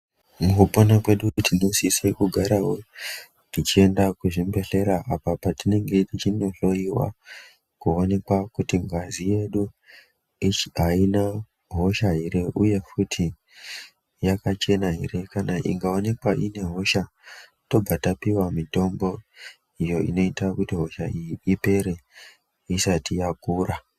Mukupona kwedu tinosisa kugarawo tichienda kuchibhedhlera apa patinenge tichindohloyiwa kuonekwa kuti ngazi yedu aina hosha ere uye kuti yakachena ere kana ikaonekwa ine hosha tobva tapiwa mitombo uyo unoita kuti hosha iyi ipere isati yakura.